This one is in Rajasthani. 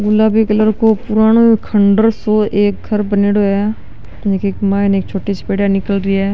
गुलाबी कलर को पुरानो खण्डर सो एक घर बनेडो है एक माइन एक छोटी सी पेडीया निकल री है।